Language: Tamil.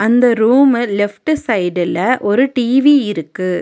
அந்த ரூமு லெஃப்ட் சைடுல ஒரு டி_வி இருக்கு.